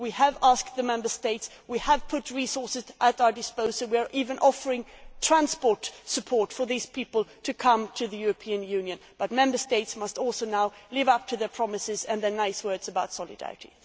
We have asked the Member States, we have put resources at our disposal, we are even offering transport support for these people to come to the European Union, but Member States must also now live up to their promises and their nice words about solidarity.